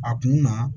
A kun na